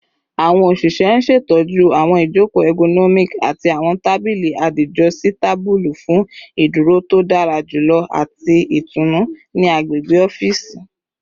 Awọn oṣiṣẹ n ṣetọju awọn ijoko ergonomic ati awọn tabili adijositabulu fun iduro to dara julọ ati itunu ni agbegbe ọfiisi